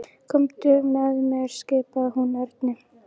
Komdu með mér skipaði hún Erni.